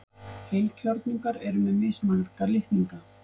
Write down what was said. heilkjörnungar eru með mismarga litninga